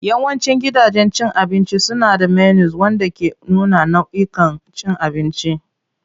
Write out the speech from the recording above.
Yawancin gidajen cin abinci suna da menus wanda ke nuna nau'ikan abincin da suke da su.